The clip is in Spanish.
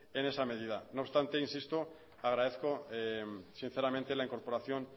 en esa medida no obstante insisto agradezco sinceramente la incorporación